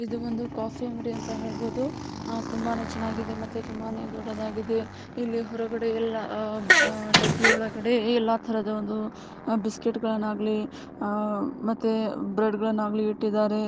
ಇದು ಒಂದು ಕಾಫಿ ಅಂಗಡಿ ಅಂತ ಹೇಳಬಹುದು ತುಂಬಾ ಚೆನ್ನಾಗಿದೆ ತುಂಬಾ ದೊಡ್ಡದಾಗಿದೆ ಬಾಟ್ಲಿಗಳಲ್ಲಿ ತುಂಬಾ ವಿವಿಧ ರೀತಿಯ ಬಿಸ್ಕೆಟ್ಗಳನ್ನು ಆಗ್ಲಿ ಬ್ರೆಡ್ಗಲ್ಲನ ಇಡಲಾಗಿದೆ.